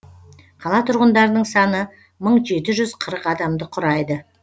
қала тұрғындарының саны мың жеті жүз қырық адамды құрайды